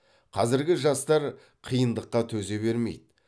қазіргі жастар қиындыққа төзе бермейді